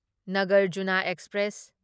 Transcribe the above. Nagarjuna express